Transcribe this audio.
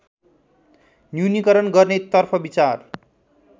न्यूनिकरण गर्नेतर्फ विचार